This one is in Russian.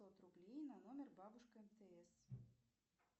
пятьсот рублей на номер бабушка мтс